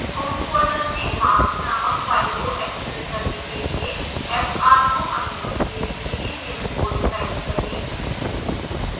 home folder में marks नामक file को access करने के लिए fr को अनुमति देने के लिए निम्न code type करें